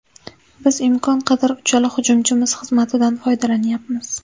Biz imkon qadar uchala hujumchimiz xizmatidan foydalanyapmiz.